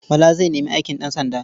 Bala zai nemi aikin ɗansanda.